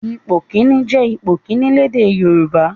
Ipò kìíní' jẹ́ ipò kìíní lédè Yorùbá.